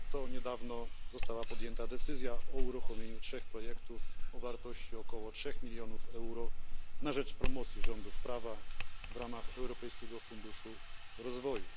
Ponadto, niedawno została podjęta decyzja o uruchomieniu trzech projektów o wartości około 3 milionów euro na rzecz wspierania rządów prawa w ramach Europejskiego Funduszu Rozwoju.